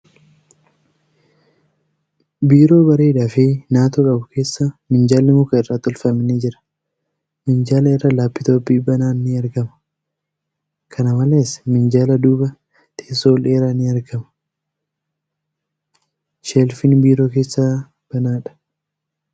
Biiroo bareedaa fi naatoo qabu keessa minjaalli muka irraa tolfame ni jira. Minjaala irra laaptooppii banaan ni argama . Kqna malees, minjaala duuba teessoo oldheeraa ni argama. Sheelfiin biiroo keessaa banaadha.